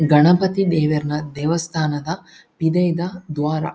ಗಣಪತಿ ದೇವೆರ್ನ ದೇವಸ್ಥಾನದ ಪಿದಯ್ದ ದ್ವಾರ.